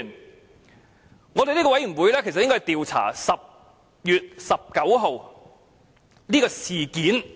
這個調查委員會應負責調查10月19日的事件......